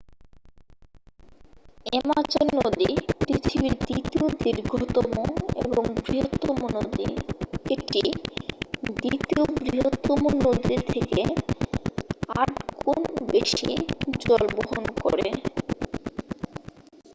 Amazon নদী পৃথিবীর দ্বিতীয় দীর্ঘতম এবং বৃহত্তম নদী এটি দ্বিতীয় বৃহত্তম নদীর থেকে 8 গুণ বেশি জল বহন করে